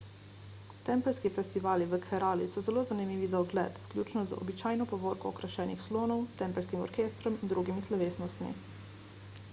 tempeljski festivali v kerali so zelo zanimivi za ogled vključno z običajno povorko okrašenih slonov tempeljskim orkestrom in drugimi slovesnostmi